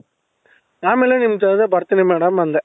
ಆಮೇಲೆ ನಿಮ್ದು ಅದೇ ಬರ್ತೀನಿ madam ಅಂದೇ